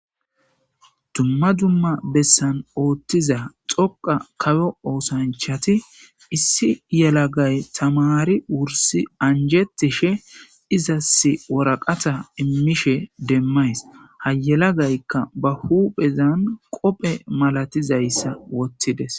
Dumma dumma bessan ooththiza xoqa kawo oosanchati issi yelagay tamari wursi anjetishe izas woraqata immishe demmays hayelagaykka ba huphezan qophe malatizayssa wottides.